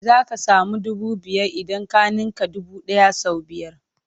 Za ka samu dubu biyar idan ka ninka dubu ɗaya sau biyar.